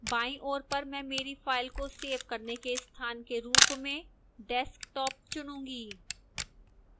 बाईं ओर पर मैं मेरी file को सेव करने के स्थान के रूप में desktop चुनूंगी